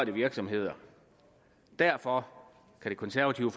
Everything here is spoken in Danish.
virksomheder derfor kan det konservative